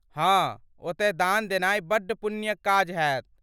हाँ, ओतय दान देनाइ बड्ड पुण्यक काज हैत।